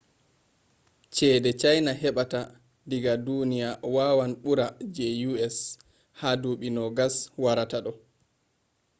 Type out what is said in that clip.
ceede chaina heɓata diga duniya wawan ɓura je us ha duuɓi 20 warata ɗo